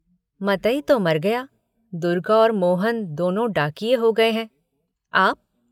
मतई तो मर गया दुर्गा और मोहन दोनों डाकिये हो गये हैं, आप।